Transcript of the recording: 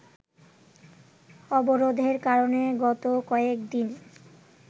অবরোধের কারণে গত কয়েকদিন